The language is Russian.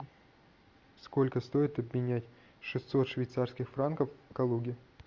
сколько стоит обменять шестьсот швейцарских франков в калуге